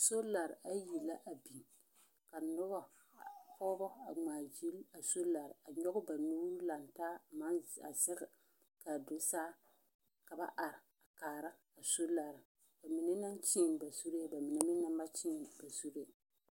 Solare ayi la a biŋ. Ka nobɔ pɔgebɔ a ŋmaagyili a solare a nyɔge ba nuuri lantaa a maŋ z a zɛge kaa do saa ka ba are a kaara a solare. Ba mine naŋ kyeen ba zuree ba mine meŋ naŋ ba kyeen ba zuree.